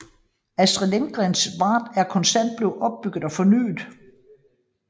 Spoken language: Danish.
Astrids Lindgrens Värld er konstant blevet udbygget og fornyet